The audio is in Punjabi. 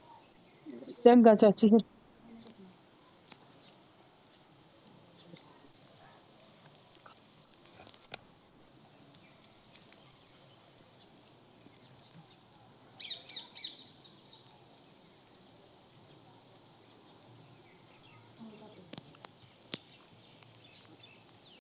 ਚੰਗਾ ਚਾਚੀ ਫੇਰ।